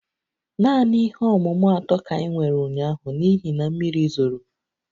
Naanị ihe ọmụmụ atọ ka anyị nwere ụnyaahụ n'ihi na mmiri zoro